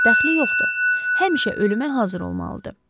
Ancaq dəxli yoxdur, həmişə ölümə hazır olmalıdır.